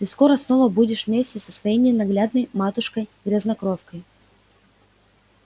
ты скоро снова будешь вместе со своей ненаглядной матушкой-грязнокровкой